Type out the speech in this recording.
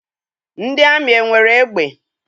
Ndị amị enwere egbe?